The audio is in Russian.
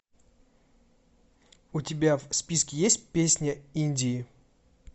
у тебя в списке есть песня индии